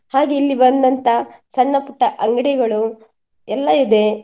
ಹಾಗೆ ಇಲ್ಲಿ ಬಂದಂತಹ ಸಣ್ಣ ಪುಟ್ಟ ಅಂಗ್ಡಿಗಳು ಎಲ್ಲ ಇದೆ.